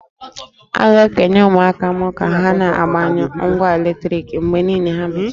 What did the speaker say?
A ga-ekenye ụmụaka m ka ha na-agbanyụ ngwa eletriki mgbe niile ma ha mechaa